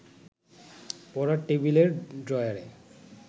পড়ার টেবিলের ড্রয়ারে